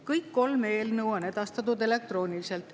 Kõik kolm eelnõu on edastatud elektrooniliselt.